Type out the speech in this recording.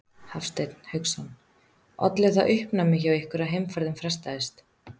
Hafsteinn Hauksson: Olli það uppnámi hjá ykkur að heimferðin frestaðist?